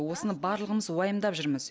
осыны барлығымыз уайымдап жүрміз